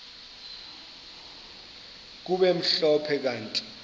kube mhlophe kanti